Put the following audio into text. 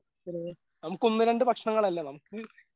നമുക്കൊന്ന് രണ്ട് ഭക്ഷണങ്ങളല്ല നമുക്ക്